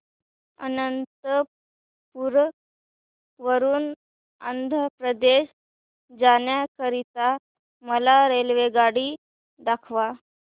अनंतपुर वरून आंध्र प्रदेश जाण्या करीता मला रेल्वेगाडी दाखवा